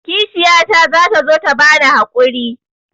Kishiyata za ta zo ta bani haƙuri.